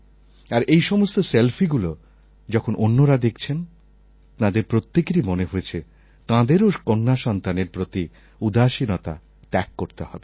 আর এইসমস্ত selfyগুলো যখন অন্যরা দেখছেন তাঁদের প্রত্যেকেরই মনে হয়েছে তাঁদেরও কন্যাসন্তানের প্রতি উদাসীনতা ত্যাগ করতে হবে